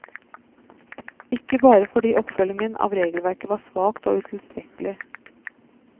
Ikke bare fordi oppfølgingen av regelverket var svakt og utilstrekkelig.